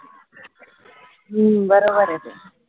हम्म बरोबर ए तुझं